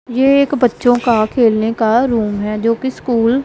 ये एक बच्चों के खेलने का रूम है जो कि स्कूल --